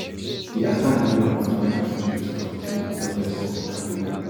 di attack leave am wit minor injuries but kill im eldest son khaled